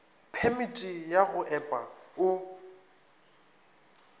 phemiti ya go epa o